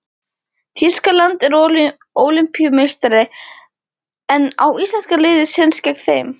Þýskaland er Ólympíumeistari en á íslenska liðið séns gegn þeim?